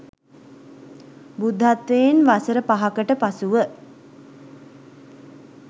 බුද්ධත්වයෙන් වසර 5 කට පසුව